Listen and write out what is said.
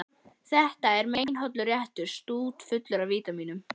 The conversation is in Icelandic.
Þetta er meinhollur réttur, stútfullur af vítamínum.